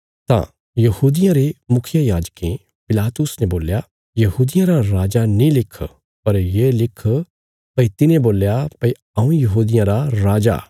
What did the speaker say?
तां यहूदियां रे मुखियेयाजकें पिलातुस ने बोल्या यहूदियां रा राजा नीं लिख पर ये लिख भई तिने बोल्या भई हऊँ यहूदियां रा राजा